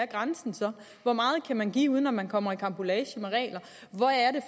grænsen så er hvor meget kan man give uden at man kommer i karambolage med regler